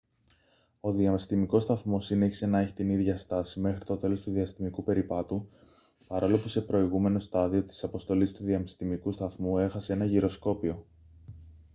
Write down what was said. ο διαστημικός σταθμός συνέχισε να έχει την ίδια στάση μέχρι το τέλος του διαστημικού περιπάτου παρόλο που σε προηγούμενο στάδιο της αποστολής του διαστημικού σταθμού έχασε ένα γυροσκόπιο